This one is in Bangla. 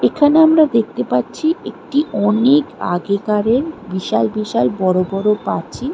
এখানে আমরা দেখতে পাচ্ছি একটি অনেক আগেকারের বিশাল বিশাল বড় বড় পাচি--